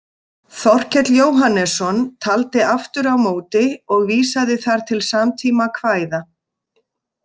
Þorkell Jóhannesson taldi aftur á móti og vísaði þar til samtíma kvæða.